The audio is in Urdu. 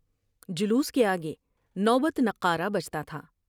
جلوس کے آ گے نوبت نقار و پتا تھا ۔